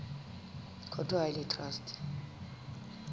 court ha e le traste